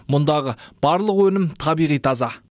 мұндағы барлық өнім табиғи таза